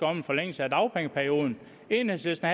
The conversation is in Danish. om en forlængelse af dagpengeperioden enhedslisten